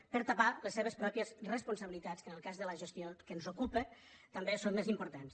per tapar les seves pròpies responsabilitats que en el cas de la gestió que ens ocupa també són més importants